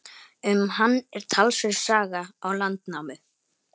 Um hann er talsverð saga í Landnámu.